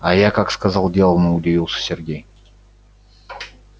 а я как сказал делано удивился сергей